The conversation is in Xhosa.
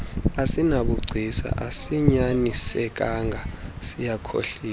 asinabugcisa asinyanisekanga siyakhohlisa